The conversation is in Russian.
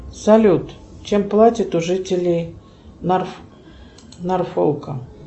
салют чем платят у жителей норфолка